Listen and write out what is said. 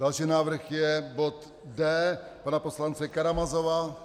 Další návrh je bod D pana poslance Karamazova.